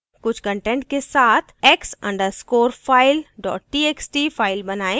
कुछ कंटेंट के साथ x _ underscore file dot txt file बनाएँ